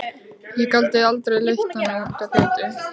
Ég get aldrei leitt hana út á götuna.